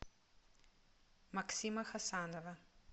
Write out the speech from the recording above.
максима хасанова